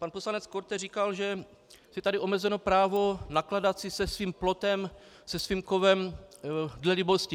Pan poslanec Korte říkal, že je tady omezeno právo nakládat si se svým plotem, se svým kovem dle libosti.